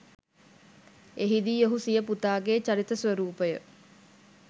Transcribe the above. එහිදී ඔහු සිය පුතාගේ චරිත ස්‌වරූපය